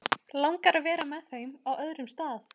Langar að vera með þeim á öðrum stað.